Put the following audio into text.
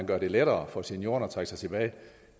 gøre det lettere for seniorerne at trække sig tilbage